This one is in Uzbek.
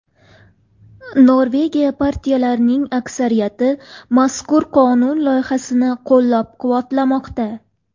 Norvegiya partiyalarining aksariyati mazkur qonun loyihasini qo‘llab-quvvatlamoqda.